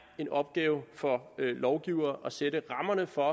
en opgave for lovgivere at sætte rammerne for